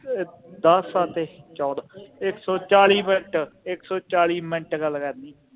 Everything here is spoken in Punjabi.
ਦਸ ਸਾਤੇ ਚੋਦਾਂ ਇਕ ਸੌ ਚਾਲੀ ਮਿੰਟ, ਇਕ ਸੌ ਚਾਲੀ ਮਿੰਟ ਗੱਲ ਕਰਨੀ ਆ